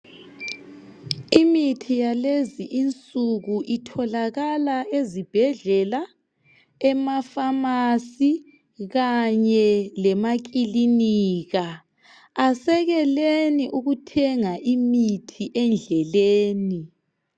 Imithi yalezi insuku itholakala ezibhedlela emafamasi kanye lemakilinika asekeleni ukuthenga imithi endleleni